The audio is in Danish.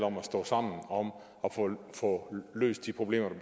om at stå sammen om at få løst de problemer der